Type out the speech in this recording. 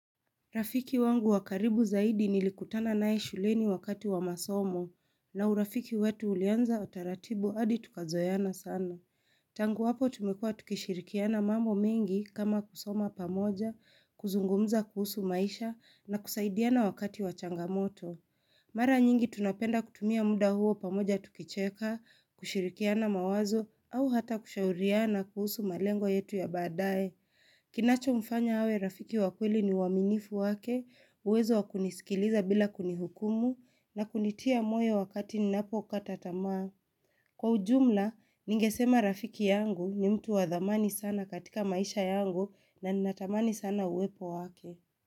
Rafiki wangu wa karibu zaidi nilikutana naye shuleni wakati wa masomo, na urafiki wetu ulianza utaratibu hadi tukazoeana sana. Tangu hapo tumekuwa tukishirikiana mambo mengi kama kusoma pamoja, kuzungumza kuhusu maisha, na kusaidiana wakati wa changamoto. Mara nyingi tunapenda kutumia muda huo pamoja tukicheka, kushirikiana mawazo, au hata kushauriana kuhusu malengo yetu ya baadaye. Kinachomfanya awe rafiki wa kweli ni uaminifu wake uwezo wa kunisikiliza bila kunihukumu, na kunitia moyo wakati ninapokata tamaa. Kwa ujumla, ningesema rafiki yangu ni mtu wa dhamani sana katika maisha yangu na ninatamani sana uwepo wake.